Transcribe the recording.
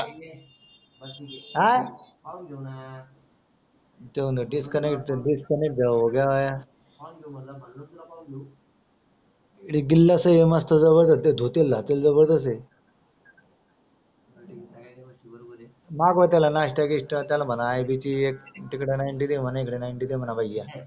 मागव त्याला नास्ता गीस्ता आय बी ची एक नायन टी दे म्हणा तिकड नायन टी म्हणा भया